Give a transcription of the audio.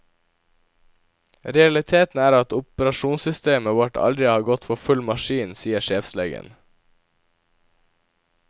Realiteten er at operasjonssystemet vårt aldri har gått for full maskin, sier sjefslegen.